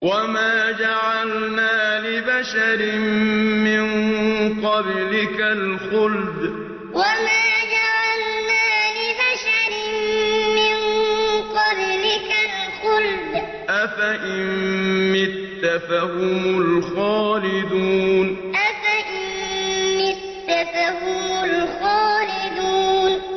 وَمَا جَعَلْنَا لِبَشَرٍ مِّن قَبْلِكَ الْخُلْدَ ۖ أَفَإِن مِّتَّ فَهُمُ الْخَالِدُونَ وَمَا جَعَلْنَا لِبَشَرٍ مِّن قَبْلِكَ الْخُلْدَ ۖ أَفَإِن مِّتَّ فَهُمُ الْخَالِدُونَ